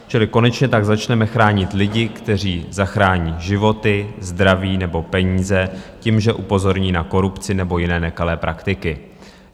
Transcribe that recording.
Čili konečně tak začneme chránit lidi, kteří zachrání životy, zdraví nebo peníze tím, že upozorní na korupci nebo jiné nekalé praktiky.